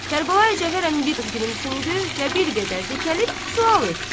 Kərbəlayi Cəfər əmi biraz gülümsündü və bir qədər dikəlib sual etdi: